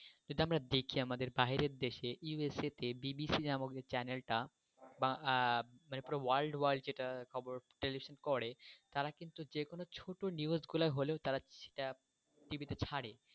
যেটা আমি দেখি আমাদের বাইরের দেশে ইউএস তে বিবিসি নামক চ্যানেলটা বা যেটা পুরো world world যেটা খবর টেলিভশন করে তারা কিন্তু যেকোনো ছোট্ট news গুলা হলেও টিভিতে ছারে।